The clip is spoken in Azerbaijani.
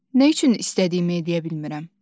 Nə üçün istədiyimi edə bilmirəm?